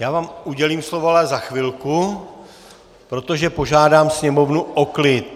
Já vám udělím slovo ale za chvilku, protože požádám sněmovnu o klid!